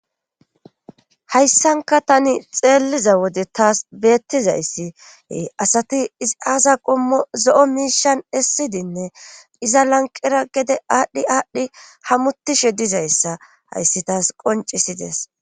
Hayssanka tani xeelliza wode taas beettizayssiee asati izi aasa qommo zo7o miishan essidinne iza lanqera gede aadhdhi aadhdhi hamutishe dizayssa hayssi taas qoncisides